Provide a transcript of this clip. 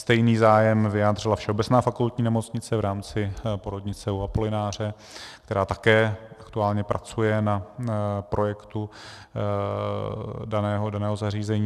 Stejný zájem vyjádřila Všeobecná fakultní nemocnice v rámci porodnice U Apolináře, která také aktuálně pracuje na projektu daného zařízení.